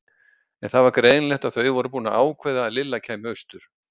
En það var greinilegt að þau voru búin að ákveða að Lilla kæmi austur.